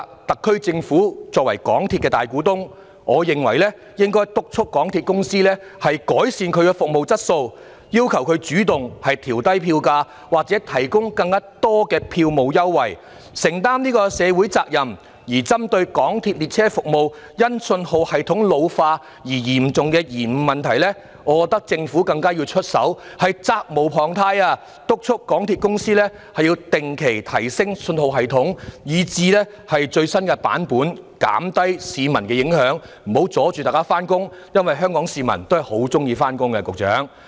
特區政府作為港鐵公司的大股東，我認為政府應該督促港鐵公司改善服務質素，要求港鐵公司主動調低票價或提供更多票務優惠，承擔社會責任；而針對港鐵列車服務因信號系統老化而產生的嚴重延誤問題，我覺得政府責無旁貸，要督促港鐵公司定期提升信號系統至最新版本，減低對市民的影響，不要阻礙市民上班，因為香港市民是很喜歡上班的，局長。